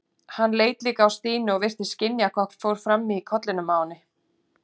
Hann leit líka á Stínu og virtist skynja hvað fór fram í kollinum á henni.